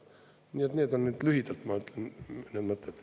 Nii et need on lühidalt mu mõtted.